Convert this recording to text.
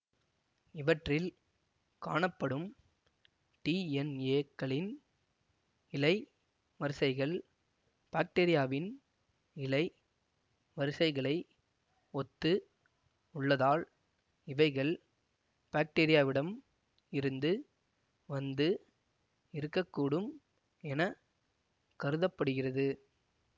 இவற்றில் காணப்படும் டிஎன்ஏ க்களின் இழை வரிசைகள் பாக்டீரியாவின் இழை வரிசைகளை ஒத்து உள்ளதால் இவைகள் பாக்டீரியாவிடம் இருந்து வந்து இருக்க கூடும் என கருத படுகிறது